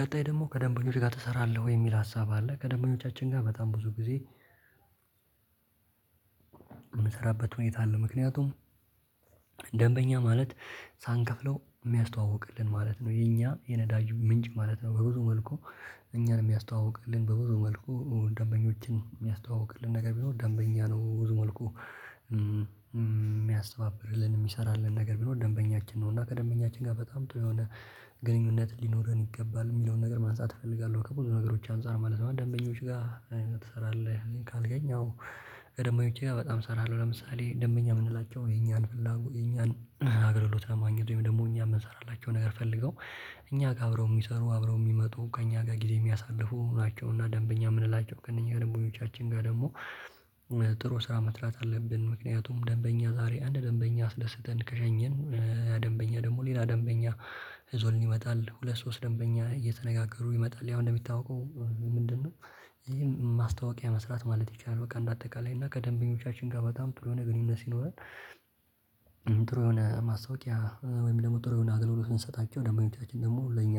ቀጣይ ደግሞ ከደንበኞች ጋር ትሰራለህ ወይ የሚል ሀሳብ አለ? ከደንበኞቻችን ጋር በጣም ብዙ ጊዜ የምሰራበት ሁኔታ አለ። ምክንያቱም ደንበኛ ማለት ሳንከፍለው የሚያስተዋውቅልን ማለት ነው የኛ የነዳጁ ምንጭ ማለት ነው። በብዙ መልኩ እኛን የሚያስተዋውቅልን በብዙ መልኩ ደንበኞችን የሚያስተዋውቅልን ነገር ቢሆን ደንበኛ ነው ብዙ መልኩ የሚያስተባብርልን የሚሰራልን ነገር ቢኖር ደንበኛችን ነው። እና ከደንበኛችን ጋር በጣም ጥሩ የሆነ ግንኙነት ሊኖረን ይገባል የሚለውን ነገር ማንሳት እፈልጋለሁ። ከብዙ ነገሮች አንፃር ማለት ነው ደንበኞች ጋር ምን ትሰራለህ? ካገኘው ደግሞ እምነቴ ጋር በጣም እሰራለሁ። ለምሳሌ ደንበኛ የምንላቸው የኛን ፍላጎት የኛን አገልግሎት ለማግኘት ወይም ደግሞ እኛ የምንሰራላቸው ነገር ፈልገው እኛ ጋር አብረው የሚሰሩ አብረው የሚመጡ ከእኛ ጋር ጊዜ የሚያሳልፉ ናቸውና። እና ደንበኛ የምንላቸው ከእነኚህ ደንበኞቻችን ጋር ደግሞ ጥሩ ስራ መስራት አለብን። ምክንያቱም ደንበኛ ዛሬ አንድ ደንበኛ አስደስተን ከሸኘን ደንበኛ ደግሞ ሌላ ደንበኛ ዞልን ይመጣል። ሁለት ሶስት ደንበኛ እየተነጋገሩ ይመጣል ያው እንደሚታወቀው ምንድነው? ይሄ ማስታወቂያ መስራት ማለት ይቻላል በቃ እንደ አጠቃላይ እና ከደንበኞቻችን ጋር በጣም ጥሩ የሆነ ግንኙነት ይኖራል። ጥሩ የሆነ ማስታወቂያ ወይም ደግሞ ጥሩ የሆነ አገልግሎትን ሰጣቸው ደግሞ እምነታችን ደግሞ ለእኛ